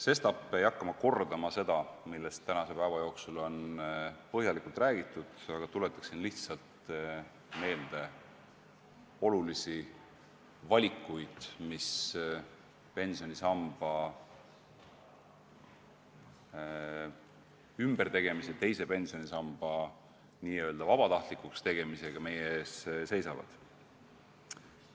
Sestap ei hakka ma kordama seda, millest tänase päeva jooksul on põhjalikult räägitud, tuletaksin lihtsalt meelde olulisi valikuid, mis seoses pensionisüsteemi muutmisega, teise pensionisamba vabatahtlikuks tegemisega meie ees seisavad.